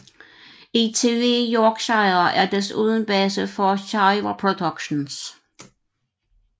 ITV Yorkshire er desuden base for Shiver Productions